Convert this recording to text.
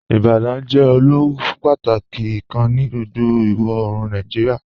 "Ibadan jẹ ilù pátàkí kàn ní gbogbo iwọ-oorùn Nàìjíríà.